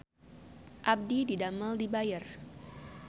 Abdi didamel di Bayer